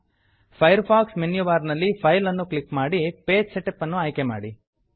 fire fox menu bar ನಲ್ಲಿ file ಅನ್ನು click ಮಾಡಿ ಪೇಜ್ ಸೆಟಪ್ ಅನ್ನು ಆಯ್ಕೆ ಮಾಡಿ